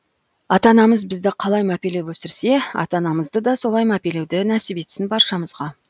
ата анамыз бізді қалай мәпелеп өсірсе ата анамызды да солай мәпелеуді нәсіп етсін баршамызға